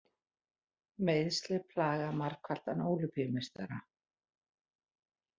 Meiðsli plaga margfaldan Ólympíumeistara